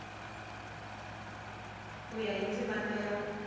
ku ya hi ndzimana ya